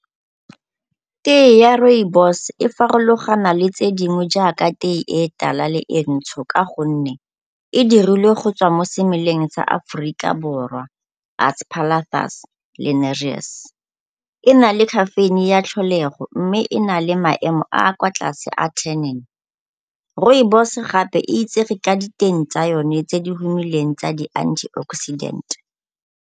Tee ya rooibos e farologana le tse dingwe jaaka tee e tala le e ntsho ka gonne e dirilwe go tswa mo semeleng sa Aforika Borwa Aspalathus linearis. E na le caffeine-e ya tlholego mme e na le maemo a a kwa tlase a . Rooibos gape e itsege ka diteng tsa yone tse di tsa di-antioxidant.